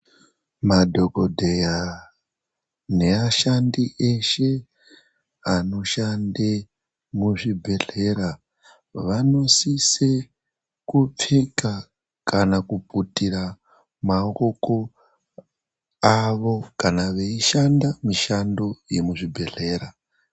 Madhogodheya neashandi eshe anoshande muzvibhedhlera vanosise kupfeka kana kuputira maoko avo kana veishanda mishando yemuzvibhedhlera.